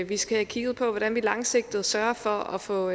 vi skal have kigget på hvordan vi langsigtet sørger for at få